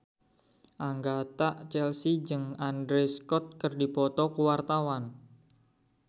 Agatha Chelsea jeung Andrew Scott keur dipoto ku wartawan